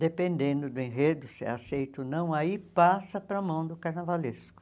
Dependendo do enredo, se é aceito ou não, aí passa para a mão do carnavalesco.